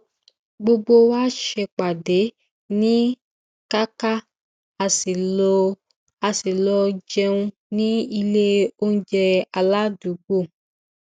gbogbo wa ṣe pàdé ní kàkà a sì lọ jẹun ní ilé onjẹ aládùúgbò